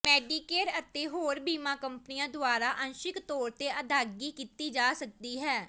Medicare ਅਤੇ ਹੋਰ ਬੀਮਾ ਕੰਪਨੀਆਂ ਦੁਆਰਾ ਅੰਸ਼ਿਕ ਤੌਰ ਤੇ ਅਦਾਇਗੀ ਕੀਤੀ ਜਾ ਸਕਦੀ ਹੈ